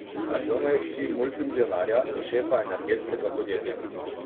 Aljona je hči multimilijonarja in šefa energetskega podjetja.